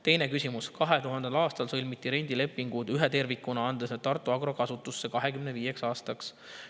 Teine küsimus: "2000. aastal sõlmiti rendilepingud ühe tervikuna, andes need Tartu Agro kasutusse 25 aastaks.